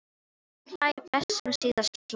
Sá hlær best sem síðast hlær!